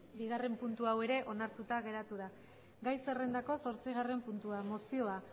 bigarrena puntua hau ere onartuta geratu da gai zerrendako zazpigarren puntua mozioa